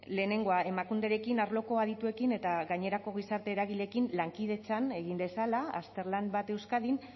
lehenengoa emakunderekin arloko adituekin eta gainerako gizarte eragileekin lankidetzan egin dezala azterlan bat euskadin